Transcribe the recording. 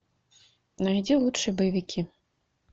найди лучшие боевики